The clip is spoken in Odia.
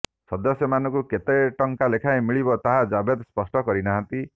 ସଦସ୍ୟମାନଙ୍କୁ କେତେ ଟଙ୍କା ଲେଖାଏଁ ମିଳିବ ତାହା ଜାଭେଦ ସ୍ପଷ୍ଟ କରିନାହାନ୍ତି